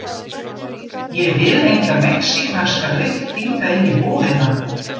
Ég vil enga mexíkanska lykt hingað inn í íbúðina!